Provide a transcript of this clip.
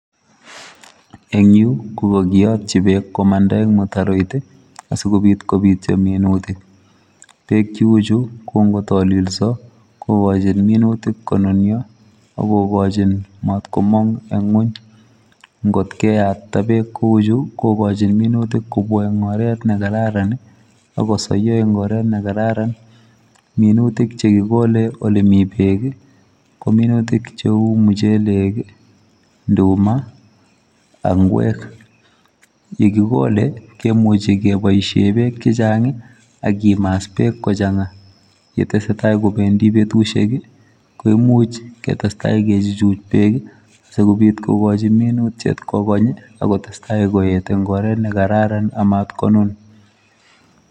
Eng yu ko kakiyotchi beek komanda eng mutaroit asikobit kopityo minutik. Beek chiuchu ko nkotolilso kokochin nunutik konunyo ak kokochin matkomong eng ng'uny. Nkot keyatita beek ku chu kokochin minutik kopityo eng oret nekararan ak kosoiyo eng oret nekararan. Minutik chekikole olemi beek ko minutik cheu muchelek, nduma ak ng'wek. yekikole, kemuchi keboishe beek chechang ak kimas beek kochang'a. Yetesetai kopendi betushek ko imuch ketestai kechuchuch beek sikobit kokochi minutyet kokony akotestai koet eng oret nekararan amat konun.